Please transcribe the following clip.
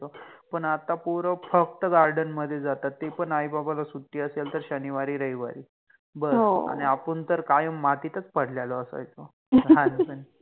पण आता पोर फक्त Garden मधे जातात ते पण आई बाबाला सुट्टि असेल तर शनिवारि, रविवारि बस. हो, आणि आपण तर कायम मातितच पडलेलो असायचो लहानपनि